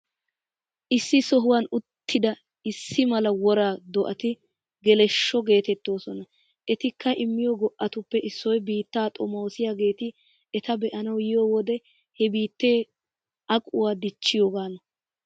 Issi sohuwan uttida issi mala wora do'ati geleshsho geeteettoosona. Etikka immiyo go'atuppe issoy biittaa xomoosiyaageeti eta be'anawu yiyo wodee he biittee aquwaa dichchiyoogaana.